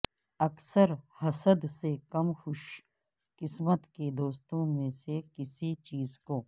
اکثر حسد سے کم خوش قسمت کے دوستوں میں سے کسی چیز کو